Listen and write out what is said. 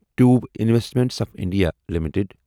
tube Investments of India limited